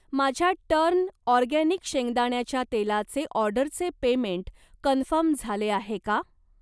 माझ्या turn organic शेंगदाण्याच्या तेलाचे ऑर्डरचे पेमेंट कन्फर्म झाले आहे का?